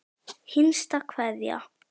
HINSTA KVEÐJA.